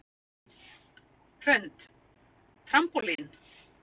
Hrund: Trampólín?